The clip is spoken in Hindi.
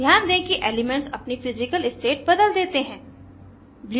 ध्यान दें कि एलीमेन्ट्स अपनी physical state बदल देते हैं